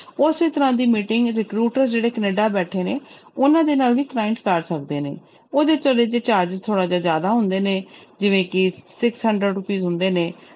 ਉਸੇ ਤਰ੍ਹਾਂ ਦੀ meeting recruiter ਜਿਹੜੇ ਕੈਨੇਡਾ ਬੈਠੇ ਨੇ ਉਹਨਾਂ ਦੇ ਨਾਲ ਵੀ client ਕਰ ਸਕਦੇ ਨੇ, ਉਹਦੇ charges ਥੋੜ੍ਹਾ ਜਿਹਾ ਜ਼ਿਆਦਾ ਹੁੰਦੇ ਨੇ ਜਿਵੇਂ ਕਿ six hundred rupees ਹੁੰਦੇ ਨੇ,